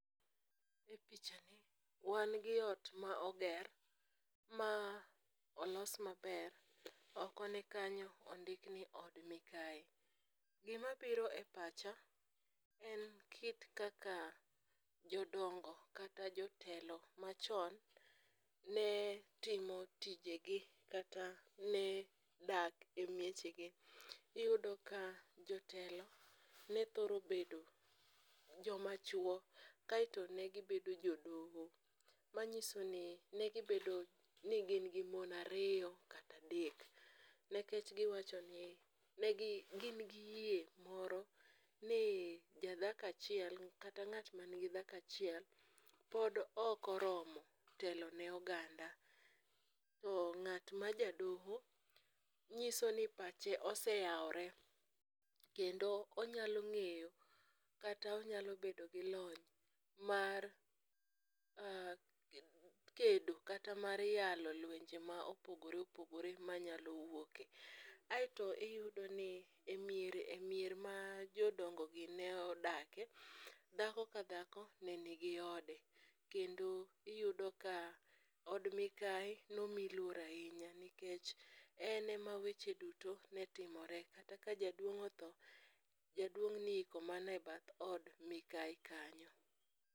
E pichani, wan gi ot ma oger ma olos maber ,oko ne kanyo ondik ni Od Mikayi. Gimabiro e pacha en kit kaka jodongo kata jotelo machon, ne timo tijegi kata ne dak e miechegi, iyudo ka jotelo ne thoro bedo jomachwo, kaeto ne gibedo jodoho, manyiso ni negi bedo ni gin gi mon ariyo kata adek, nikech giwacho ni, ne gin gi yie moro ni jadhako achiel kata ng'at manigi dhako achiel, pod okoromo telone oganda. Ng'at ma ja doho, nyiso ni pache oseyawore, kendo onyalo ng'eyo kata onyalo bedo gi lony mar kedo kata mar yalo lwenje ma opogore opogore mayalo wuoke. Aeto iyudo ni e mier, ma jodongogi ne odake, dhako ka dhako ne nigi ode kendo iyudo ka od mikayi nomi luor ahinya nikech en ema weche duto ne timore, kata ka jaduong' otho, jaduong' ne iiko mana e bath od mikayi kanyo.